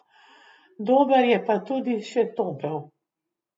Dober je pa tudi še topel.